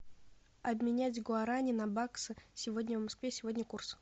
обменять гуарани на баксы сегодня в москве сегодня курс